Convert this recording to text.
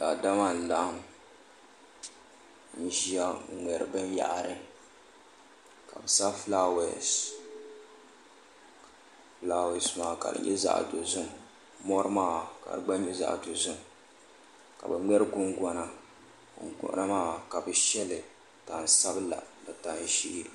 Daadama n laɣim n ʒia n ŋmɛri binyahari ka bɛ sa filaawasi filaawasi maa ka dinyɛ zaɣa dozim morimaa ka di gba nyɛ zaɣa dozim ka bɛ ŋmɛrri gungona gungonamaa ka bi sheli tansabilani tanʒee.